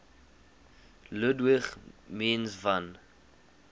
ludwig mies van